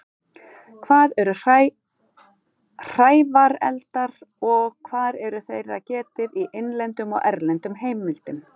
Hvað eru hrævareldar og hvar er þeirra getið í innlendum og erlendum heimildum?